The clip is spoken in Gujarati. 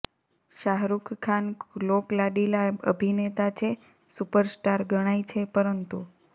શાહરુખ ખાન લોકલાડીલા અભિનેતા છે સુપર સ્ટાર ગણાય છે પરંતુ